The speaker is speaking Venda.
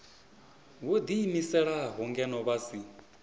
vho ḓiimiselaho ngeno vha si